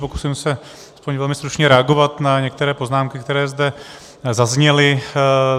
Pokusím se aspoň velmi stručně reagovat na některé poznámky, které zde zazněly.